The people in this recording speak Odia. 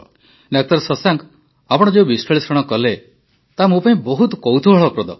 ଡା ଶଶାଙ୍କ ଆପଣ ଯେଉଁ ବିଶ୍ଲେଷଣ କଲେ ତାହା ମୋ ପାଇଁ ବହୁତ କୌତୂହଳପ୍ରଦ